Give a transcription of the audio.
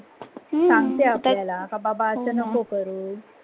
सांगते आपला की बाबा आस नक्को करू.